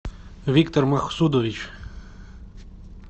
виктор махсудович